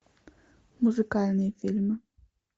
музыкальные фильмы